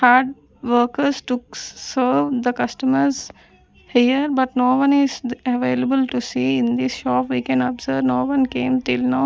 hard workers to serve the customers here but no one is available to see in this shop we can observe no one came till now--